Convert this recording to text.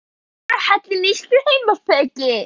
Skýr og góður inngangur að hellenískri heimspeki.